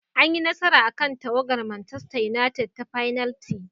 An yi nasara akan tawagar Manchester united ta fenalti.